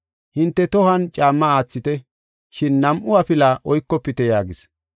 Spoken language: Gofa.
Hinte tohuwan caamma aathite, shin nam7u afila oykofite” yaagis.